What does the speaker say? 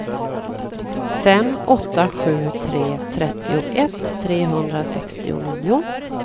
fem åtta sju tre trettioett trehundrasextionio